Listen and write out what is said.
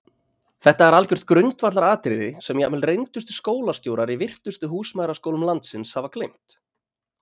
Þetta er algjört grundvallaratriði sem jafnvel reyndustu skólastjórar í virtustu húsmæðraskólum landsins hafa gleymt!